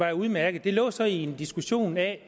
er udmærket det lå så i en diskussion af